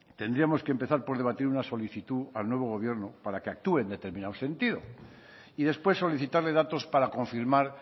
tendríamos que empezar por debatir una solicitud al nuevo gobierno para que actúe en determinado sentido y después solicitarle datos para confirmar